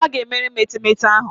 Ọ ga-emere m etemeete ahụ.